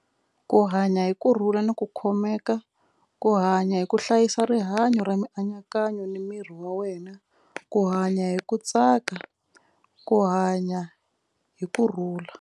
Ku hanya hi kurhula ni ku khomeka ku hanya hi ku hlayisa rihanyo ra mianakanyo ni miri wa wena ku hanya hi ku tsaka ku hanya hi kurhula.